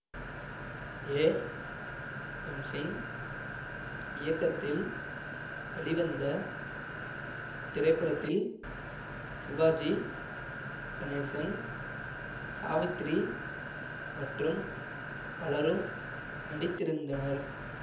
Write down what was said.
ஏ பிம்சிங் இயக்கத்தில் வெளிவந்த இத்திரைப்படத்தில் சிவாஜி கணேசன் சாவித்திரி மற்றும் பலரும் நடித்திருந்தனர்